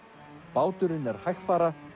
báturinn er hægfara